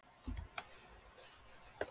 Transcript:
Hann ætlaði að kalla á eftir henni en hætti við.